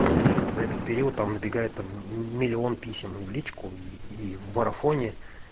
за период там набегает там миллион писем и в личку и в марафоне